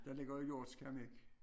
Der ligger jo hjorts keramik